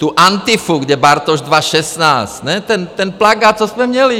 Tu Antifu, kde Bartoš 2016... ne, ten plakát, co jsme měli!